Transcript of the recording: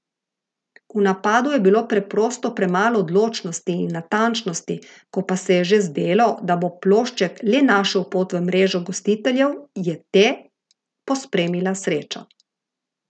V napadu je bilo preprosto premalo odločnosti in natančnosti, ko pa se je že zdelo, da bo plošček le našel pot v mrežo gostiteljev, je te pospremila sreča.